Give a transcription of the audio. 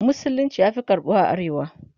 musulunci ya Fi samun karɓuwa a arewa